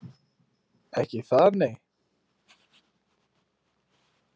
Ekki það nei